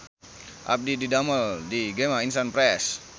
Abdi didamel di Gema Insani Press